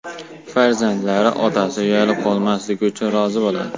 Farzandlari otasi uyalib qolmasligi uchun rozi bo‘ladi .